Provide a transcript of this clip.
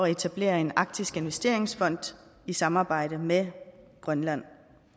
at etablere en arktisk investeringsfond i samarbejde med grønland